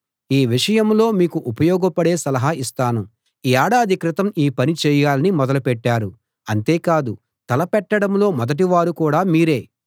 ఈ విషయంలో మీకు ఉపయోగపడే సలహా ఇస్తాను ఏడాది క్రితం ఈ పని చేయాలని మొదలు పెట్టారు అంతే కాదు తలపెట్టడంలో మొదటి వారు కూడా మీరే